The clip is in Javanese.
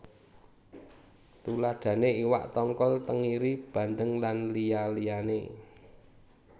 Tuladhané iwak tongkol tengiri bandeng lan liya liyané